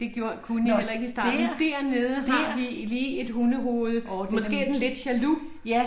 Det gjorde kunne jeg heller ikke i starten, dernede har vi lige et hundehoved. Måske er den lidt jaloux?